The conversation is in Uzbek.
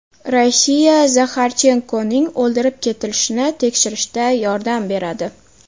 Rossiya Zaxarchenkoning o‘ldirib ketilishini tekshirishda yordam beradi.